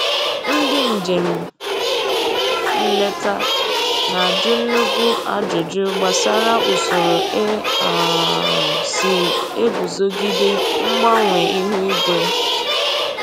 Ndị njem nleta na-ajụ nnukwu ajụjụ gbasara usoro e um si eguzogide mgbanwe ihu igwe